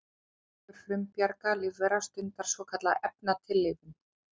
Annar hópur frumbjarga lífvera stundar svokallaða efnatillífun.